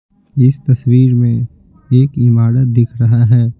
इस तस्वीर में एक इमारत दिख रहा है।